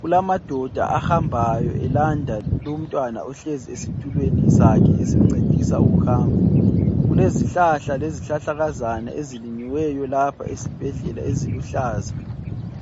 Kulamadoda ahambayo elanda lumntwana ohleziyo esitulweni sakhe esimncedisa ukuhamba kulezihlahla lezihlahlakazana ezilinyiweyo lapha esibhedlela eziluhlaza.